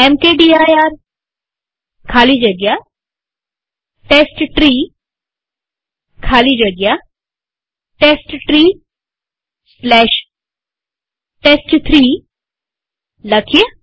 mkdir ખાલી જગ્યા test tree ખાલી જગ્યા testtreeટેસ્ટ3 લખીએ